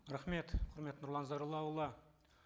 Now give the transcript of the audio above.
рахмет құрметті нұрлан зайроллаұлы